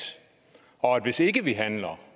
og at hvis ikke vi handler